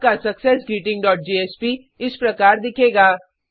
आपका success greeting dot JSP इस प्रकार दिखेगा